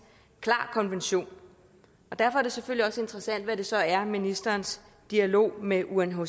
klar konvention og derfor er det selvfølgelig også interessant hvad det så er ministerens dialog med unhcr